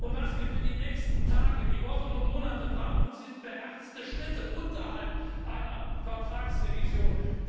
Was wir für die nächsten Tage, Wochen und Monate brauchen, sind beherzte Schritte unterhalb einer Vertragsrevision.